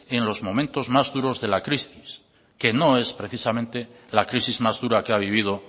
en los momentos más duros de la crisis que no es precisamente la crisis más dura que ha vivido